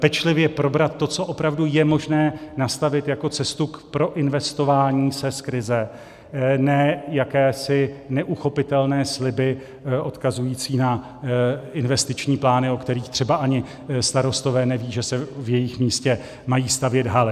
Pečlivě probrat to, co opravdu je možné nastavit jako cestu k proinvestování se z krize, ne jakési neuchopitelné sliby odkazující na investiční plány, o kterých třeba ani starostové nevědí, že se v jejich místě mají stavět haly.